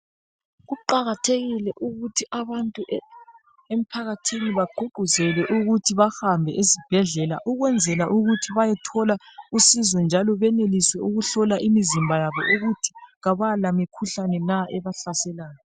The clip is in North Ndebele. Kuqakathekile ukuthi abantu emphakathini bagqugquzele ukuthi bahambe ezibhedlela ukwenzela ukuthi bayethola usizo njalo benelise ukuhlola imizimba yabo ukuthi kabala mikhuhlane na ebahlaselayo.